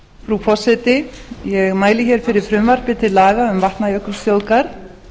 frú forseti ég mæli hér fyrir frumvarpi til laga um vatnajökulsþjóðgarð